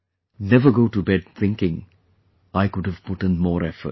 Never go to bed, thinking, I could have putin more efforts